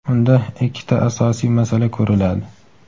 unda ikkita asosiy masala ko‘riladi.